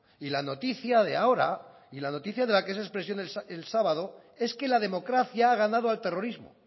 y la noticia de ahora y la noticia de la que es expresión el sábado es que la democracia ha ganado al terrorismo